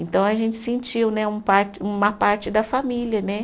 Então a gente sentiu né um parte, uma parte da família, né?